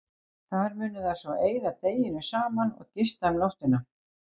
Þar munu þær svo eyða deginum saman og gista um nóttina.